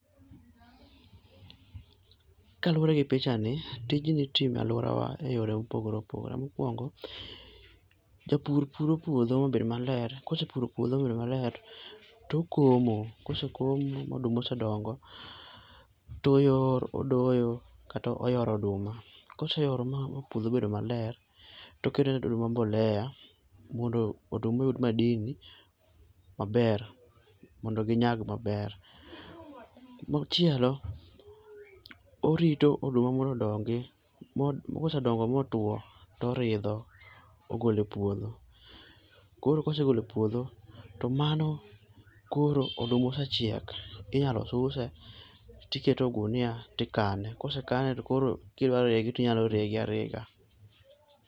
Kaluwore gi pichani, tijni itimo e aluorawa eyore mopogore opogore. Mokuongo, japur puro puodho mabed maler, kose puro puodho mobedo maler tokomo. Kosekomo ma oduma odongo, to odoyo kata oyoro oduma. Kose yoro ma puodho obedo maler, to okto ne oduma [cs|mbolea mondo oduma oyud madini maber to ginyag maber. Machielo, orito oduma mondo odongi. Ka osedongo motwo, to ogolo e puodho. Koro ka osegolo e puodho, to mano koro oduma osechiek. Inyalo suse tiketo e ogunia to ikane. Kosekane to koro kidwa rege to inyalo rege arega.